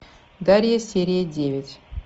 дарья серия девять